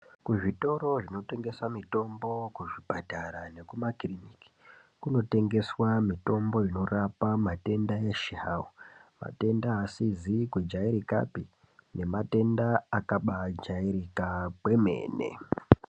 Kuzvitoro zvinotengesa mitombo, kuzvipatara nekukiriniki kunotengeswa mitombo inorapa matenda eshe hawo, matenda asizi kujairikapi, nematenda akabaajairika kwemene.